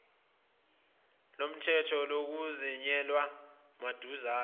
lolukhetho luzomenyezelwa maduzane